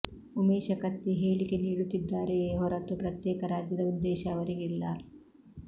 ಉಮೇಶ ಕತ್ತಿ ಹೇಳಿಕೆ ನೀಡುತ್ತಿದ್ದಾರೆಯೇ ಹೊರತು ಪ್ರತ್ಯೇಕ ರಾಜ್ಯದ ಉದ್ದೇಶ ಅವರಿಗಿಲ್ಲ